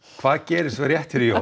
hvað gerist svo rétt fyrir jól